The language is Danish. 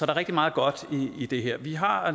er rigtig meget godt i det her vi har